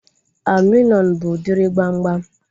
Aluminium bụ udiri gbamgbam